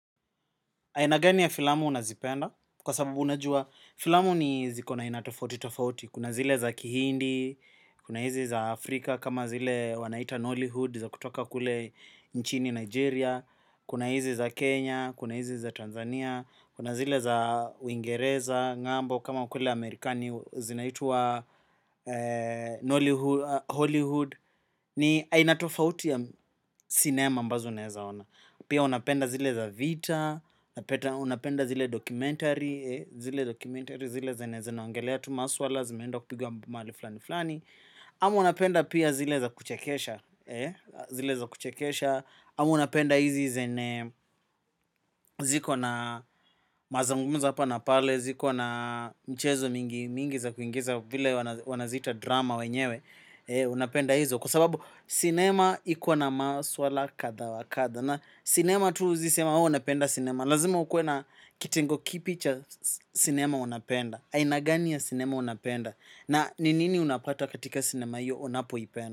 Aina gani ya filamu unazipenda kwa sababu unajua filamu ni ziko na aina tofauti tofauti. Kuna zile za kihindi, kuna izi za Afrika kama zile wanaita Nollyhood za kutoka kule nchini Nigeria. Kuna hizi za Kenya, kuna hizi za Tanzania, kuna zile za Wingereza, ng'ambo kama kule Amerikani zinaitwa Nollyhood, Holyhood. Ni aina tofauti ya sinema ambazo naezaona. Pia unapenda zile za vita, unapenda zile documentary, zile zenye zinaongelea tu maswala, zimeenda kupigwa mali fulani fulani. Ama unapenda pia zile za kuchekesha, zile za kuchekesha. Ama unapenda hizi zene ziko na mazangumuza hapa na pale, ziko na mchezo mingi mingi za kuingiza vile wanaziita drama wenyewe. Unapenda hizo kwa sababu sinema iko na maswala kadhaa wa kadha. Na sinema tu huezi sema ooh unapenda sinema. Lazima ukuwe na kitengo kipi cha sinema unapenda. Aina gani ya sinema unapenda. Na ni nini unapata katika sinema iyo unapo ipenda.